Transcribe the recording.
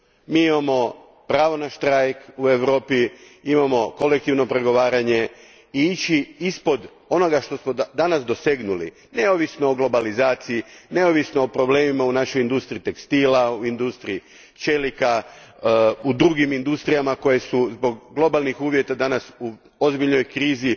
Mi imamo pravo na štrajk u Europi, imamo kolektivno pregovaranje i ići ispod onoga što smo danas dosegnuli neovisno o globalizaciji, neovisno o problemima u našoj industriji tekstila, industriji čelika, u drugim industrijama koje su zbog globalnih uvjeta danas u ozbiljnoj krizi